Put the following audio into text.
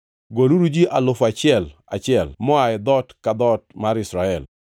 Goluru ji alufu achiel achiel (1,000) moa e dhoot ka dhoot mar Israel.”